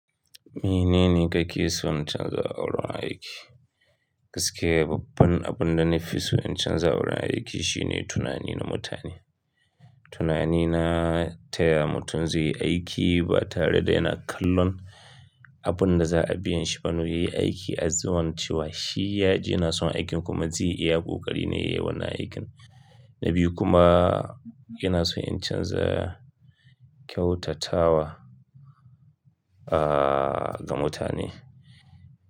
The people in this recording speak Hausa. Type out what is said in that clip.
Menene kake son canza a wurin aiki. Gaskiya babban abin da na fi so in canza a wurin aiki shine tunani na mutane. Tunani na taya mutum zai yi aiki ba tare da yana kallon abin da za a biyan shi ba. Naw yayi aiki azuwan cewa shi ya ji yana son aikin kuma zai iya kokari nai yayi wannan aikin. Na biyu kuma ina so in canza kyautatawa, ah, ga mutane.